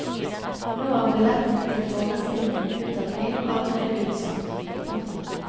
Nå er billettene til forestillingene ut april allerede utsolgt. punktum